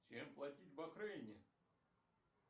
чем платить в бахрейне